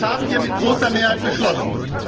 Das haben wir mit großer Mehrheit beschlossen.